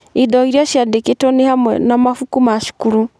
Indo Iria Ciandĩkĩtwo nĩ hamwe na mabuku ma cukuru.